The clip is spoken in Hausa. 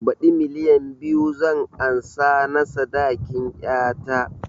Baɗi milliyan biyu zan ansa na sadakin ƴata